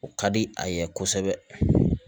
O ka di a ye kosɛbɛ